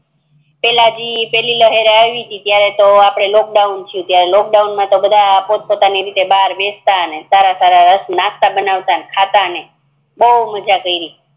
પેલા જ જે પેલી લહેર આવી હતી ત્યારે આપડે લોકડાઉન થયું ત્યારે લોકડાઉન માતો આપડે પોત પોતાની રીતે બહાર બેસતા ને સારા સારા નાસ્તા બનાવતા ને ખાતા ને બૌ મજા કેરી